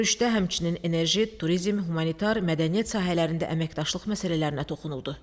Görüşdə həmçinin enerji, turizm, humanitar, mədəniyyət sahələrində əməkdaşlıq məsələlərinə toxunuldu.